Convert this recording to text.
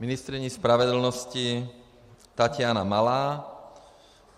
Ministryní spravedlnosti Taťána Malá.